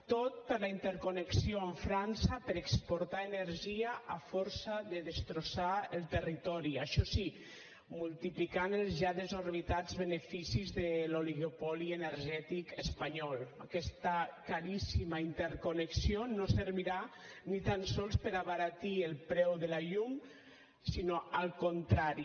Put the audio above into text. tot per la interconnexió amb frança per exportar energia a força de destrossar el territori això sí multiplicant els ja desorbitats beneficis de l’oligopoli energètic espanyol aquesta caríssima interconnexió no servirà ni tan sols per abaratir el preu de la llum sinó al contrari